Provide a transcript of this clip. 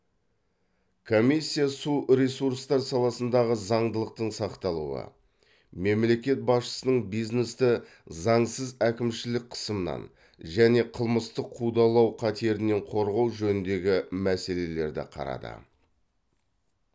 комиссия су ресурстар саласындағы заңдылықтың сақталуы мемлекет басшысының бизнесті заңсыз әкімшілік қысымнан және қылмыстық қудалау қатерінен корғау жөніндегі мәселелерді қарады